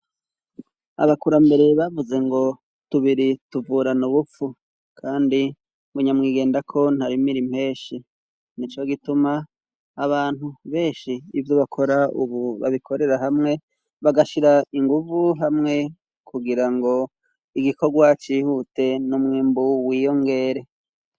Abakurambere bavuze ngo: Tubiri tuvurana ubupfu kandi bunyamwigenda ko ntari mirimira impeshi. Ni co gituma abantu beshi ibyo bakora ubu babikorera hamwe bagashira inguvu hamwe kugira ngo igikorwa cihute n'umwimbu w'iyongere.